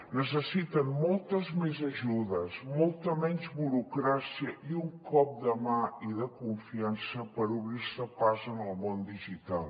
necessiten moltes més ajudes molta menys burocràcia i un cop de mà i de confiança per obrir se pas en el món digital